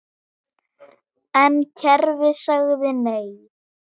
En kerfið sagði NEI.